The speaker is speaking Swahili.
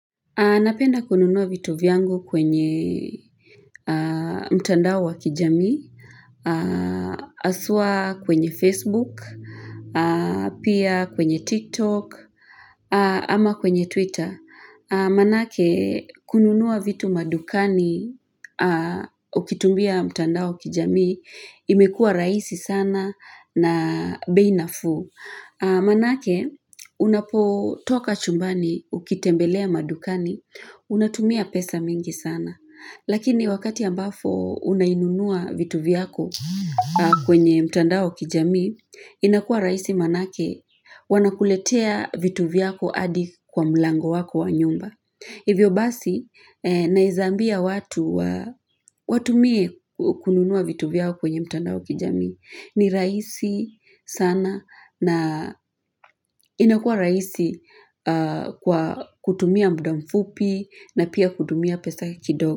Napenda kununua vitu vyangu kwenye mtandao wa kijamii haswa kwenye facebook Pia kwenye tiktok ama kwenye twitter manake kununuwa vitu madukani ukitumia mtandao kijamii imekua rahisi sana na bei nafuu manake unapotoka chumbani ukitembelea madukani Unatumia pesa mingi sana Lakini wakati ambapo unainunua vitu vyako kwenye mtandao wa kijamii inakua rahisi manake wanakuletea vitu vyako hadi kwa mlango wako wa nyumba Hivyo basi naeza ambia watu watumie kununua vitu vyao kwenye mtandao wa kijamii ni rahisi sana na inakua rahisi kwa kutumia muda mfupi na pia kutumia pesa kidogo.